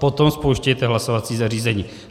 Potom spouštějte hlasovací zařízení.